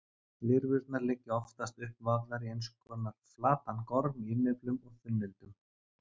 Lirfurnar liggja oftast uppvafðar í einskonar flatan gorm á innyflum og þunnildum.